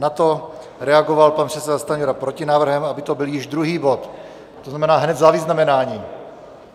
Na to reagoval pan předseda Stanjura protinávrhem, aby to byl již druhý bod, to znamená hned za vyznamenáním.